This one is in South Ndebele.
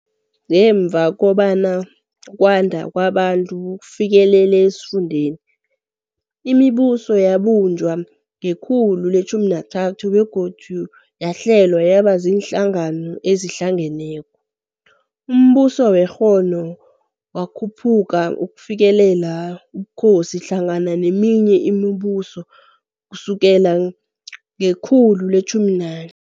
Ngemva kobana ukwanda kwamaBantu kufikelele esifundeni, imibuso yabunjwa ngekhulu le-13 begodu yahlelwa yaba ziinhlangano ezihlangeneko. UmBuso we-Kongo wakhuphuka ukufikelela ubukhosi hlangana neminye imibuso kusukela ngekhulu le-14.